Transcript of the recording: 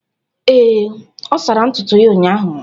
Ee, ọ sara ntutu ya ụnyahụ.